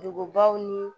Dugubaw ni